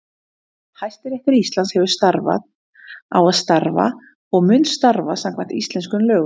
Hæstiréttur Íslands hefur starfað, á að starfa og mun starfa samkvæmt íslenskum lögum.